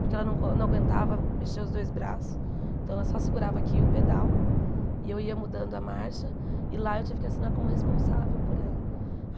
porque ela não aguentava mexer os dois braços, então ela só segurava aqui o pedal, e eu ia mudando a marcha, e lá eu tive que assinar como responsável por ela.